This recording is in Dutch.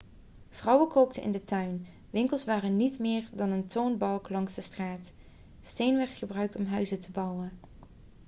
vrouwen kookten in de tuin winkels waren niet meer dan een toonbank langs de straat steen werd gebruikt om huizen te bouwen